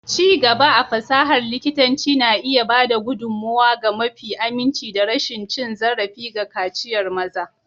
Ci gaba a fasahar likitanci na iya ba da gudummawa ga mafi aminci da rashin cin zarafi ga kaciyar maza.